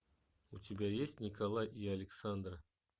у тебя есть николай и александр